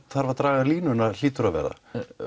að draga línuna hlýtur að vera